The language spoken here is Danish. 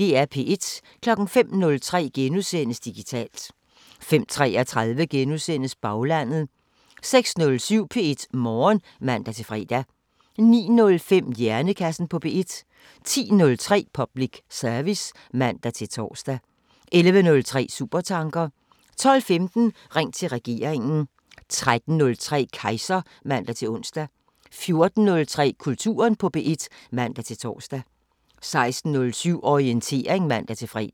05:03: Digitalt * 05:33: Baglandet * 06:07: P1 Morgen (man-fre) 09:05: Hjernekassen på P1 10:03: Public service (man-tor) 11:03: Supertanker 12:15: Ring til regeringen 13:03: Kejser (man-ons) 14:03: Kulturen på P1 (man-tor) 16:07: Orientering (man-fre)